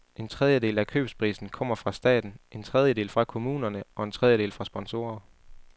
En tredjedel af købsprisen kommer fra staten, en tredjedel fra kommunerne og en tredjedel fra sponsorer.